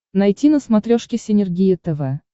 найти на смотрешке синергия тв